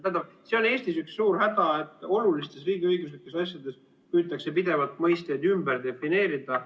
Tähendab, see on Eestis üks suur häda, et olulistes riigiõiguslikes asjades püütakse pidevalt mõisteid ümber defineerida.